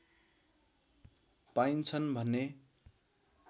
पाइन्छन् भने